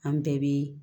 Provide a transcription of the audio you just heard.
An bɛɛ bɛ